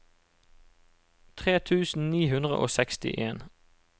tre tusen ni hundre og sekstien